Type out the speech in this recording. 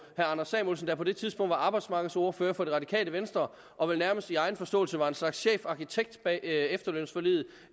anders samuelsen der på det tidspunkt var arbejdsmarkedsordfører for det radikale venstre og vel nærmest i egen forståelse var en slags chefarkitekt bag efterlønsforliget